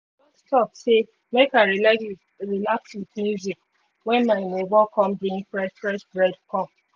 talk sey make bread come